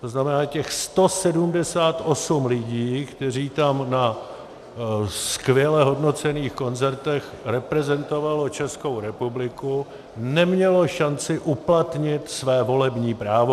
To znamená, těch 178 lidí, kteří tam na skvěle hodnocených koncertech reprezentovali Českou republiku, nemělo šanci uplatnit své volební právo.